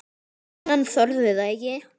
En hann þorði það ekki.